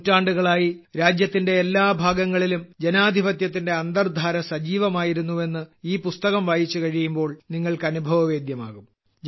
നൂറ്റാണ്ടുകളായി രാജ്യത്തിന്റെ എല്ലാ ഭാഗങ്ങളിലും ജനാധിപത്യത്തിന്റെ അന്തർധാര സജീവമായിരുന്നു എന്ന് ഈ പുസ്തകം വായിച്ചുകഴിയുമ്പോൾ നിങ്ങൾക്ക് അനുഭവവേദ്യമാകും